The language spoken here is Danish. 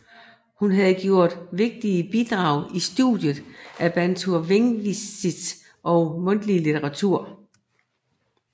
Hun har gjort vigtige bidrag i studiet af bantu lingvistik og mundtlig litteratur